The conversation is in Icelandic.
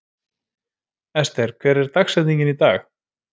Ester, hver er dagsetningin í dag?